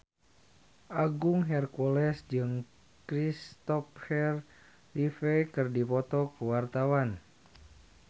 Agung Hercules jeung Christopher Reeve keur dipoto ku wartawan